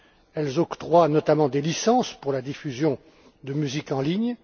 Elles octroient notamment des licences pour la diffusion de musique en ligne.